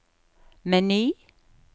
meny